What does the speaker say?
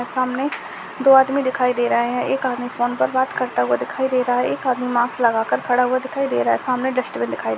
सामने दो आदमी दिखाई दे रहे है एक आदमी फोन पर बात करता हूआ दिखाई दे रहा है एक आदमी माक्स लगाकर खड़ा हुआ दिखाई दे रहा है सामने डस्टबिन दिखाई--